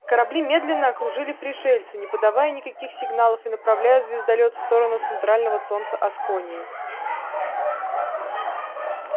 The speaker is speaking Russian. корабли медленно окружили пришельца не подавая никаких сигналов и направляя звездолёт в сторону центрального солнца асконии